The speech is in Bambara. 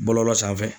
Bɔlɔlɔ sanfɛ